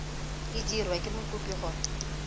e dirwa ke mokopi gore